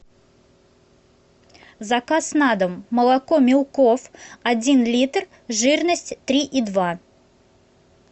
заказ на дом молоко милков один литр жирность три и два